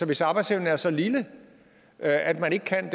hvis arbejdsevnen er så lille at man ikke kan